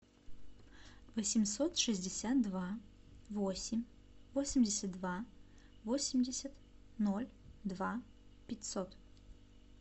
восемьсот шестьдесят два восемь восемьдесят два восемьдесят ноль два пятьсот